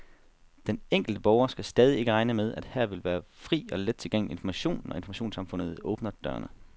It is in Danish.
Den enkelte borger skal stadig ikke regne med, at her vil være fri og let tilgængelig information, når informationssamfundet åbner dørene.